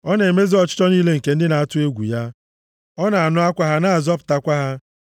Ọ na-emezu ọchịchọ niile nke ndị na-atụ egwu ya; ọ na-anụ akwa ha na-azọpụtakwa ha.